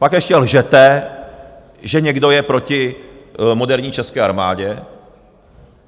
Pak ještě lžete, že někdo je proti moderní české armádě.